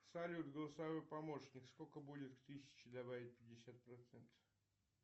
салют голосовой помощник сколько будет к тысяче добавить пятьдесят процентов